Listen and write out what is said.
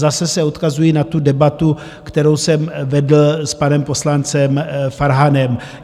Zase se odkazuji na tu debatu, kterou jsem vedl s panem poslancem Farhanem.